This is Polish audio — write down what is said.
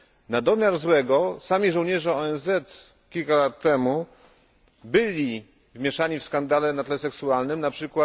Na domiar złego sami żołnierze ONZ kilka lat temu byli zamieszani w skandale na tle seksualnym, np.